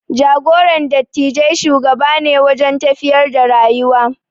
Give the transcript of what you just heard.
Jagoran dattijai shugaba ne wajen tafiyar da rayuwa.